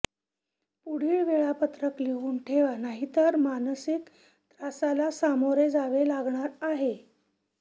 पुढील वेळापत्रक लिहून ठेवा नाहीतर मानसिक त्रासाला सामोरे जावे लागणार आहे